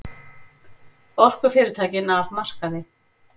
Orkufyrirtækin af markaði